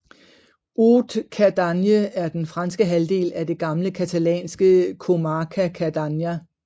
Haute Cerdagne er den franske halvdel af det gamle catalanske comarca Cerdanya